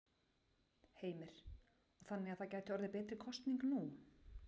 Heimir: Og þannig að það gæti orðið betri kosning nú?